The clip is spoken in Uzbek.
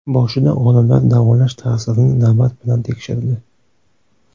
Boshida olimlar davolash ta’sirini navbat bilan tekshirdi.